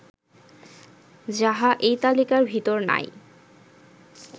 যাহা এই তালিকার ভিতর নাই